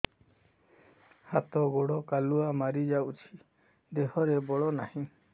ହାତ ଗୋଡ଼ କାଲୁଆ ମାରି ଯାଉଛି ଦେହରେ ବଳ ନାହିଁ